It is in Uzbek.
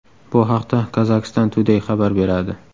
Bu haqda Kazakhstan Today xabar beradi .